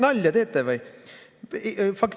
Nalja teete või?